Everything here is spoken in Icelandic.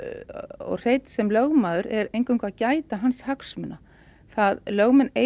og Hreinn sem lögmaður er eingöngu að gæta hans hagsmuna lögmenn eiga